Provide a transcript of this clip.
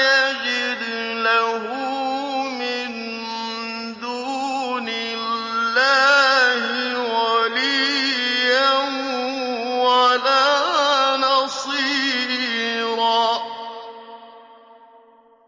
يَجِدْ لَهُ مِن دُونِ اللَّهِ وَلِيًّا وَلَا نَصِيرًا